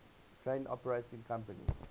train operating companies